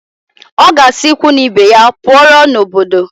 Ọ ga-asị ikwu na ibe ya pụọrọ n'obodo